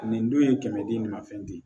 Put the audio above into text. Nin dun ye kɛmɛ di nin ma fɛn ye